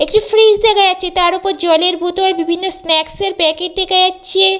একটি ফ্রিজ দেখা যাচ্ছে তারওপর জলের বোতল বিভিন্ন স্নাক্স এর প্যাকেট দেখা যাচ্ছে--